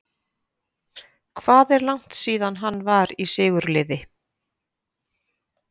Hvað er langt síðan að hann var í sigurliði?